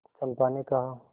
चंपा ने कहा